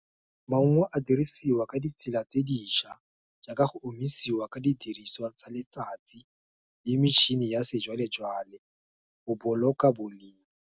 Maungo a dirisiwa ka ditsela tse diša, jaaka go omisiwa ka didiriswa tsa letsatsi, le metšhine ya sejwalejwale, go boloka boleng.